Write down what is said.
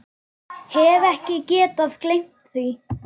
Hef ekki getað gleymt því.